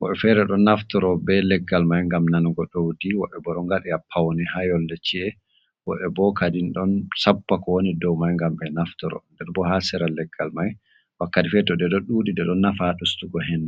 woɓe fere do naftoro be leggal mai ngam nanugo daudi wobe bo ɗo ngadi yappawni ha yolle ci’e woɓe bo kadin ɗon sappa ko woni dow mai ngam be naftoro nder bo ha seral leggal mai wakkati feto de do dudi de don nafa ɗustugo hendu.